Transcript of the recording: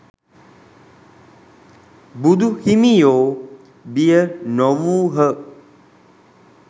බුදු හිමියෝ බිය නොවූහ.